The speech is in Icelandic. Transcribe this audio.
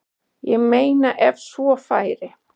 Ég meina ef svo færi.